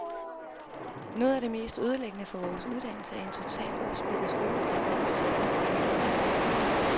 Noget af det mest ødelæggende for vores uddannelse er en totalt opsplittet skoledag, hvor vi ser en ny lærer hver time.